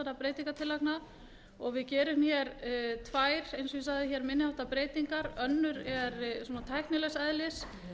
breytingartillagna við gerum tvær eins og ég sagði minni háttar breytingar önnur er tæknilegs eðlis